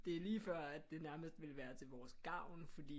Det er lige før at det nærmest ville være til vores gavn fordi